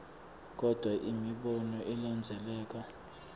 kodvwa imibono ilandzeleka